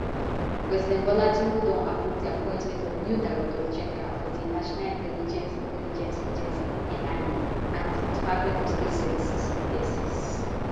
president bola tinubu don approve di appointment of new directors general for di national intelligence intelligence agency nia and di department of state services dss